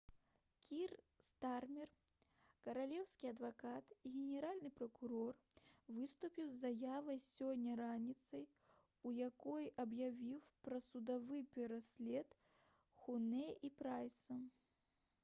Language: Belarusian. кір стармер каралеўскі адвакат і генеральны пракурор выступіў з заявай сёння раніцай у якой аб'явіў пра судовы пераслед хунэ і прайса